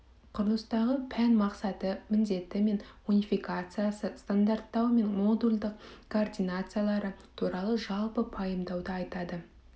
құрылыстағы пән мақсаты міндеті мен унификациясы стандарттау мен модульдық координациялары туралы жалпы пайымдауды айтады